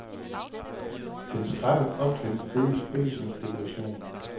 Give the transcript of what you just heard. Dens skrappe optrin føles ikke som spekulation.